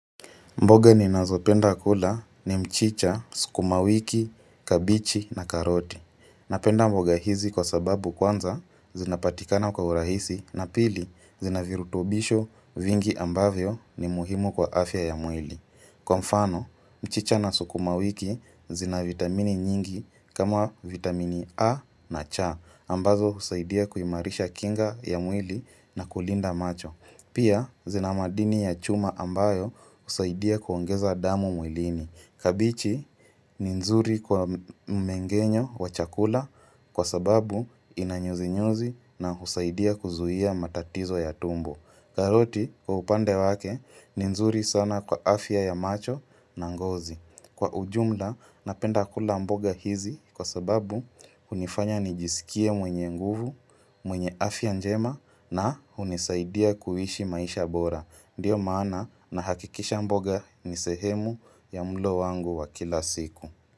Mboga ninazopenda kula ni mchicha, sukumawiki, kabichi na karoti. Napenda mboga hizi kwa sababu kwanza zinapatikana kwa urahisi na pili zina virutobisho vingi ambavyo ni muhimu kwa afya ya mwili. Kwa mfano, mchicha na sukumawiki zina vitamini nyingi kama vitamini A na cha ambazo husaidia kuimarisha kinga ya mwili na kulinda macho. Pia zina maadini ya chuma ambayo husaidia kuongeza damu mwilini. Kabichi ni nzuri kwa mmengenyo wa chakula kwa sababu inanyuzi-nyuzi na husaidia kuzuhia matatizo ya tumbo. Karoti kwa upande wake ni nzuri sana kwa afya ya macho na ngozi. Kwa ujumla napenda kula mboga hizi kwa sababu hunifanya nijisikie mwenye nguvu, mwenye afya njema na hunisaidia kuhishi maisha bora. Ndiyo maana nahakikisha mboga ni sehemu ya mlo wangu wa kila siku.